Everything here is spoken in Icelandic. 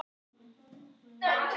Já, ég veit.